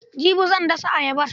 Jibi zan dasa ayabar.